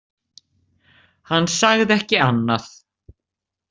Hann sagði ekki annað.